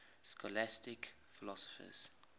scholastic philosophers